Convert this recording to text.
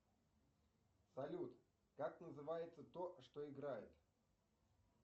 салют как называется то что играет